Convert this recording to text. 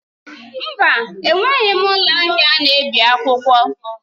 Mba! Enweghị m ụlọ ahịa na-ebi akwụkwọ.